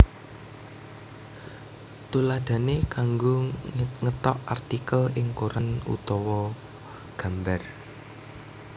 Tuladhané kanggo ngethok artikel ing koran utawa gambar